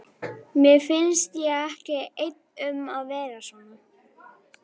Mér finnst ég ekki einn um að vera svona